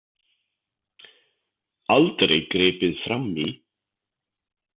Aldrei gripið frammí.